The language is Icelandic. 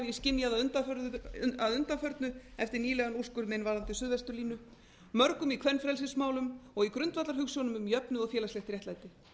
hef ég skynjað að undanförnu eftir nýlegan úrskurð minn varðandi suðvesturlínu mörgum í kvenfrelsismálum og í grundvallarhugsjónum um jöfnuð og félagslegt réttlæti